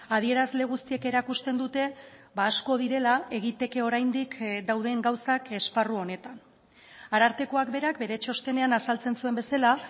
adierazle guztiek erakusten dute asko direla egiteke oraindik dauden gauzak esparru honetan arartekoak berak bere txostenean azaltzen zuen bezala